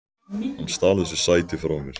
Hann stal þessu sæti frá mér!